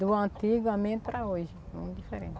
Do antigamente para hoje, é muito diferente.